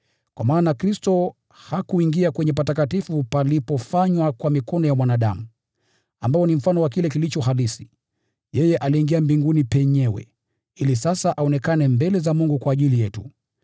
Kwa maana Kristo hakuingia kwenye patakatifu palipofanywa kwa mikono ya mwanadamu, ambao ni mfano wa kile kilicho halisi. Yeye aliingia mbinguni penyewe, ili sasa aonekane mbele za Mungu kwa ajili yetu.